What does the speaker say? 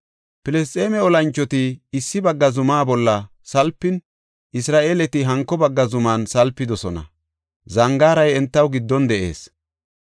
Filisxeeme olanchoti issi bagga zuma bolla salpin, Isra7eeleti hanko bagga zuman salpidosona; zangaaray entaw giddon de7ees.